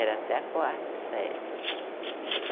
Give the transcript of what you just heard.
Era até a quarta série né.